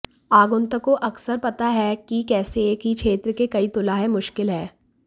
आगंतुकों अक्सर पता है कि कैसे एक ही क्षेत्र के कई तुला है मुश्किल है